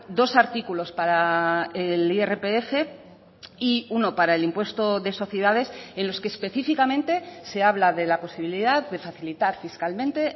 dos artículos para el irpf y uno para el impuesto de sociedades en los que específicamente se habla de la posibilidad de facilitar fiscalmente